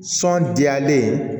Sɔn diyalen